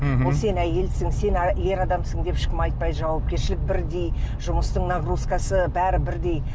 мхм ол сен әйелсің сен ер адамсың деп ешкім айтпайды жауапкершілік бірдей жұмыстың нагрузкасы бәрі бірдей